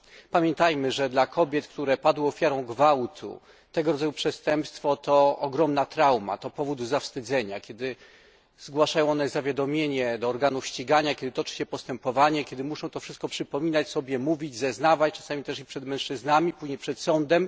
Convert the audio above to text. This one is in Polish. Pamiętajmy, że dla kobiet, które padły ofiarą gwałtu, tego rodzaju przestępstwo to ogromna trauma, to powód do zawstydzenia, kiedy zgłaszają one zawiadomienie do organów ścigania, kiedy toczy się postępowanie, kiedy muszą to wszystko przypominać sobie, mówić, zeznawać, czasami też i przed mężczyznami, później przed sądem.